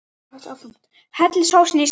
Hellið sósunni í skál.